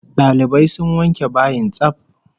Dalibai sun wanke bayin tsaf